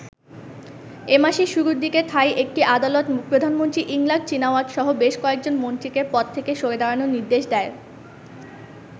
এমাসের শুরুর দিকে থাই একটি আদালত প্রধানমন্ত্রী ইংলাক চিনাওয়াতসহ বেশ কয়েকজন মন্ত্রীকে পদ থেকে সরে দাঁড়ানোর নির্দেশ দেয়।